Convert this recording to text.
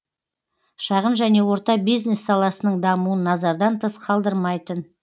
шағын және орта бизнес саласының дамуын назардан тыс қалдырмайтын